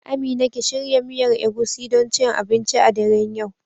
Amina ki shirya miyar Egusi don cin abinci a daren yau.